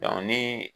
ni